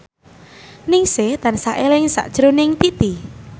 Ningsih tansah eling sakjroning Titi